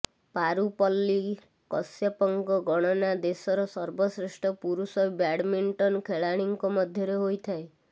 ପାରୁପଲ୍ଲୀ କଶ୍ୟପଙ୍କ ଗଣନା ଦେଶର ସର୍ବଶ୍ରେଷ୍ଠ ପୁରୁଷ ବ୍ୟାଡମିଣ୍ଟନ୍ ଖେଳାଳିଙ୍କ ମଧ୍ୟରେ ହୋଇଥାଏ